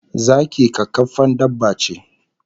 Zaki kakkarfan dabba ce